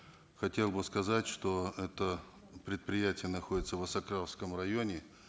хотел бы сказать что это предприятие находится в осакаровском районе